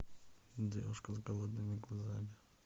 девушка с голодными глазами